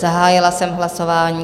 Zahájila jsem hlasování.